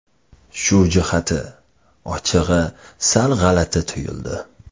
Shu jihati, ochig‘i, sal g‘alati tuyuldi.